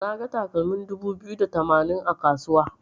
Naga takalmin dubu biyu da tamanin a kasuwa.